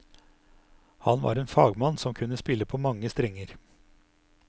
Han var en fagmann som kunne spille på mange strenger.